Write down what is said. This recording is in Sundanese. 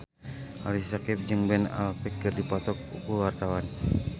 Ali Syakieb jeung Ben Affleck keur dipoto ku wartawan